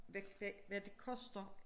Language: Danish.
Hvad hvad hvad det koster